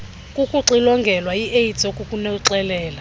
kukuxilongelwa iaids okunokukuxelela